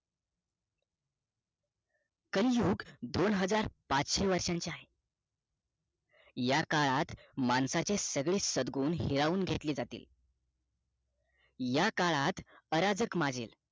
कलियुग दोनहजार पाचशे वर्षांचे आहे या काळात माणसाचे सगळे सदगुण हिरावून घेतले जातील या काळात अराजक माजेल